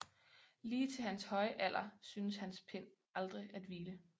Lige til hans høje alder syntes hans pen aldrig at hvile